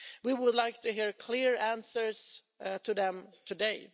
We would like to hear clear answers to them today.